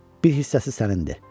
Bir hissəsi sənindir.